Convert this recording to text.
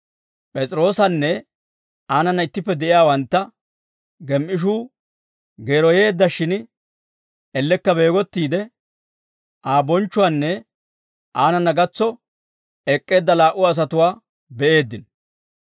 P'es'iroosanne aanana ittippe de'iyaawantta gem"ishuu geeroyeeddashshin, ellekka beegottiide Aa bonchchuwaanne aanana gatso ek'k'eedda laa"u asatuwaa be'eeddino.